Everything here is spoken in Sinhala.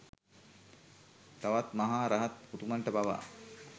තවත් මහ රහත් උතුමන්ට පවා